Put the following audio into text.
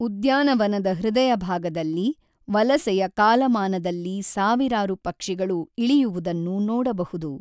ಉದ್ಯಾನವನದ ಹೃದಯಭಾಗದಲ್ಲಿ, ವಲಸೆಯ ಕಾಲಮಾನದಲ್ಲಿ ಸಾವಿರಾರು ಪಕ್ಷಿಗಳು ಇಳಿಯುವುದನ್ನು ನೋಡಬಹುದು.